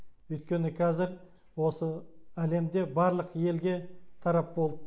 өйткені кәзір осы әлемде барлық елге тарап болды